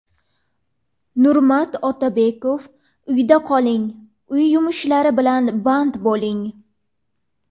Nurmat Otabekov: Uyda qoling, uy yumushlari bilan band bo‘ling.